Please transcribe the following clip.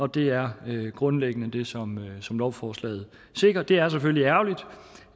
det er grundlæggende det som som lovforslaget sikrer det er selvfølgelig ærgerligt